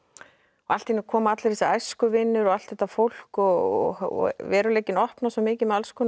allt í einu koma allir þessir æskuvinir og allt þetta fólk og veruleikinn opnast svo mikið með alls konar